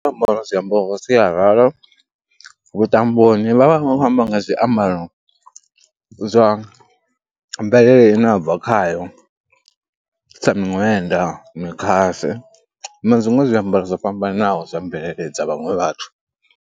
Musi ro ambara zwiambaro zwa sialala vhuṱamboni vha vha vha khou amba nga zwiambaro zwa mvelele ine a bva khayo, sa miṅwenda, mikhase na zwiṅwe zwiambaro zwo fhambananaho zwa mvelele dza vhaṅwe vhathu.